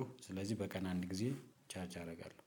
ስለዚህ